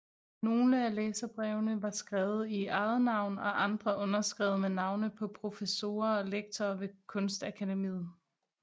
Nogle af læserbrevene var skrevet i eget navn og andre underskrevet med navne på professorer og lektorer ved kunstakademiet